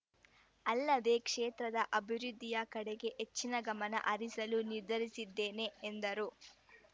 ಅಲ್ಲದೇ ಕ್ಷೇತ್ರದ ಅಭಿವೃದ್ಧಿಯ ಕಡೆಗೆ ಹೆಚ್ಚಿನ ಗಮನ ಹರಿಸಲು ನಿರ್ಧರಿಸಿದ್ದೇನೆ ಎಂದರು